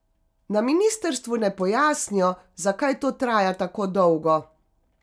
Na ministrstvu ne pojasnijo, zakaj to traja tako dolgo.